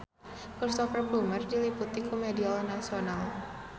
Cristhoper Plumer diliput ku media nasional